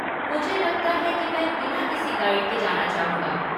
मुझे लगता है कि मैं बिना किसी गाइड के जाना चाहूँगा।